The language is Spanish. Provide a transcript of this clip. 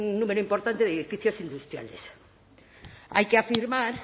número importante de edificios industriales hay que afirmar